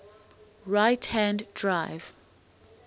right hand drive